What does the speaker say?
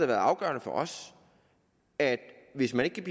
været afgørende for os at hvis man ikke kan